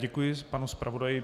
Děkuji panu zpravodaji.